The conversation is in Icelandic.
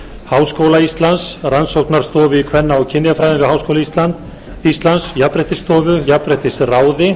háskóla íslands rannsóknastofu í kvenna og kynjafræði við háskóla íslands jafnréttisstofu jafnréttisráði